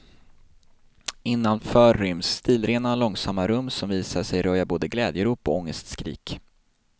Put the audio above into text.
Innanför ryms stilrena, långsamma rum som visar sig röja både glädjerop och ångestskrik.